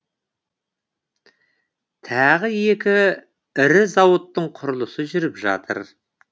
тағы екі ірі зауыттың құрылысы жүріп жатыр